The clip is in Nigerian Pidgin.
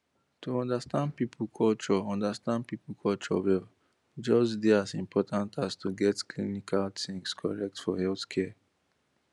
to understand people culture understand people culture well dey just as important as to get clinical things correct for healthcare